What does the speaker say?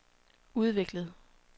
udviklet